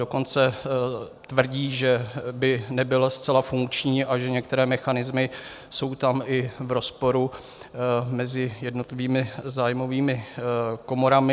Dokonce tvrdí, že by nebyl zcela funkční a že některé mechanismy jsou tam i v rozporu mezi jednotlivými zájmovými komorami.